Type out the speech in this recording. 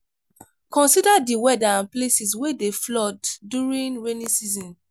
consider di weather and places wey dey flood during raining season